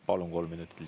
Palun, kolm minutit!